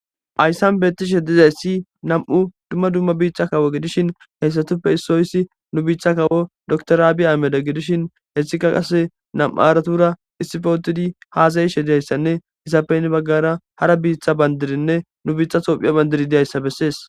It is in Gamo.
ayssan beetti shedizayssi nam7u dumma dumma biithcha kawo gidishin heyssatuppe issoyssi nu biichcha kawo doktoraabi ameda gidishin heessikka qase nam7u aratura issifootidi haasayi shedayssanne isapeyni baggara hara biitha bandirinne nu biitha hoophiya bandiri diyayssa bessees